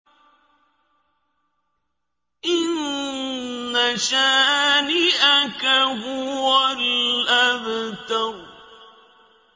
إِنَّ شَانِئَكَ هُوَ الْأَبْتَرُ